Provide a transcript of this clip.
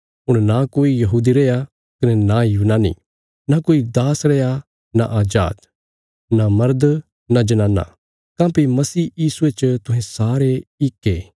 हुण नां कोई यहूदी रैया कने नां यूनानी नां कोई दास रैया नां अजाद नां मर्द नां जनाना काँह्भई मसीह यीशुये च तुहें सारे इक ये